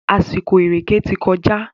Àsìkò ìrèkè ti kọjá.